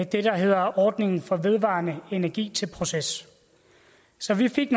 det der hedder ordningen for vedvarende energi til proces så vi fik